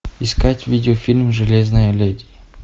искать видеофильм железная леди